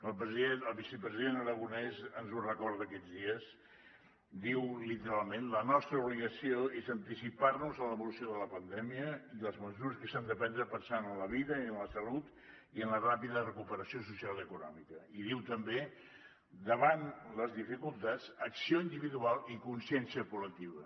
el vicepresident aragonès ens ho recorda aquests dies diu literalment la nostra obligació és anticipar nos a l’evolució de la pandèmia i les mesures s’han de prendre pensant en la vida i en la salut i en la ràpida recuperació social i econòmica i diu també davant les dificultats acció individual i consciència col·lectiva